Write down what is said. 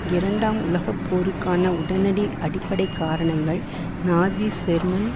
இரண்டாம் உலகப்போருக்கான உடனடி அடிப்படைக்காரணங்கள் நாஜி ஜெர்மன்